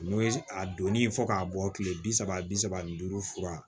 N'o ye a donni fɔ k'a bɔ kile bi saba bi saba ni duuru fura